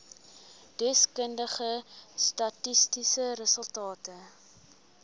deskundige statistiese resultate